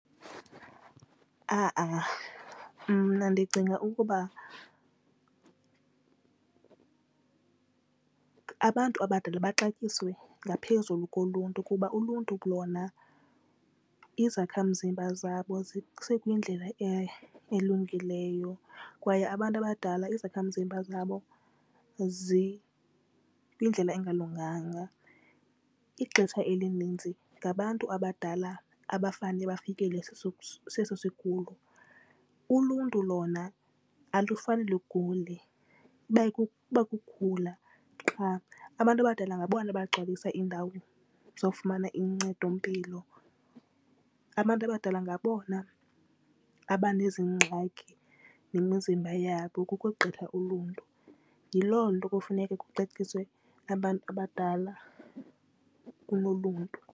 Ha-a mna ndicinga ukuba abantu abadala baxatyisiwe ngaphezulu koluntu kuba uluntu lona izakhamzimba zabo zisekwindlela elungileyo kwaye abantu abadala izakhamzimba zabo zikwindlela engalunganga. Ixesha elininzi ngabantu abadala abafane bafikele seso seso sigulo. Uluntu lona alufani lugule iba kukukhula qha. Abantu abadala ngabona abagcwalisa iindawo zokufumana uncedompilo. Abantu abadala ngabona aba nezingxaki nemizimba yabo ukogqitha uluntu. Yiloo nto kufuneka kuxatyiswe abantu abadala kunoluntu.